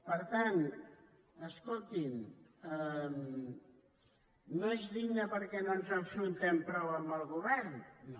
per tant escolti’m no és digne perquè no ens enfrontem prou amb el govern no